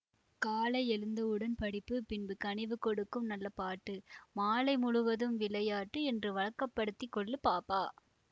காலை எழுந்தவுடன் படிப்பு பின்பு கனிவு கொடுக்கும் நல்ல பாட்டு மாலை முழுவதும் விளையாட்டு என்று வழக்க படுத்திக்கொள்ளு பாப்பா